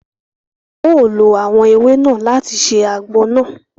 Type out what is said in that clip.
Wọn o ló awọn ewé náà láti ṣe àgbo nàá